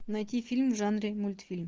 найти фильм в жанре мультфильм